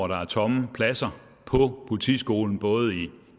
der er tomme pladser på politiskolen både i